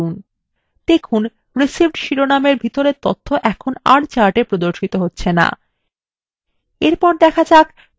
দেখুন received শিরোনামের ভিতরের তথ্য এখন আর chartএ প্রদর্শিত হচ্ছে no